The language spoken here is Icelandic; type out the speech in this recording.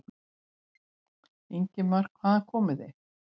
Ingimar: Hvaðan komið þið?